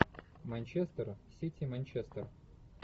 манчестер сити манчестер